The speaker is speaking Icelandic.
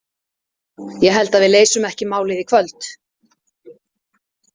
Ég held að við leysum ekki málið í kvöld.